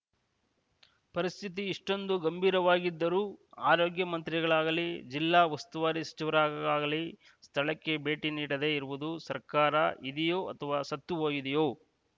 ಪರಿಸ್ಥಿತಿ ಇಷ್ಟೊಂದು ಗಂಭೀರವಾಗಿದ್ದರೂ ಆರೋಗ್ಯ ಮಂತ್ರಿಗಳಾಗಲೀ ಜಿಲ್ಲಾ ಉಸ್ತುವಾರಿ ಸಚಿವರರಾಗಲೀ ಸ್ಥಳಕ್ಕೆ ಭೇಟಿ ನೀಡದೆ ಇರುವುದು ಸರ್ಕಾರ ಇದೆಯೋ ಅಥವಾ ಸತ್ತು ಹೋಗಿದೆಯೋ